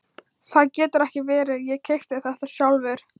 Það getur ekki verið, ég keypti þetta sjálfur.